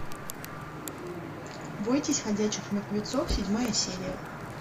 бойтесь ходячих мертвецов седьмая серия